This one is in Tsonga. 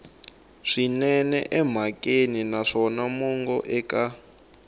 swinene emhakeni naswona mongo eka